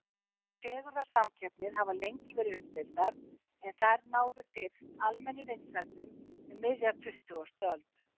Fegurðarsamkeppnir hafa lengi verið umdeildar en þær náðu fyrst almennum vinsældum um miðja tuttugustu öld.